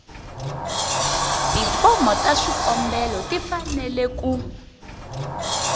tifomo ta swikombelo tifanele ku